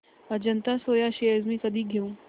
Ajanta Soya shares मी कधी घेऊ